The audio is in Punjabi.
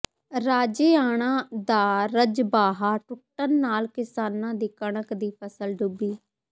ਰਾਜੇਆਣਾ ਦਾ ਰਜਬਾਹਾ ਟੁੱਟਣ ਨਾਲ ਕਿਸਾਨਾਂ ਦੀ ਕਣਕ ਦੀ ਫ਼ਸਲ ਡੁੱਬੀ